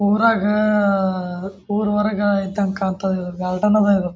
ಊರಗೆ ಅಹ್ ಅಹ್ ಊರು ಹೊರಗ ಇದಂಗೆ ಕಾಂತತೆ ಇದು ಗಾರ್ಡನ್ ಅದ ಇದು.